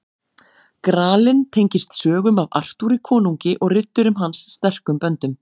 Gralinn tengist sögum af Artúri konungi og riddurum hans sterkum böndum.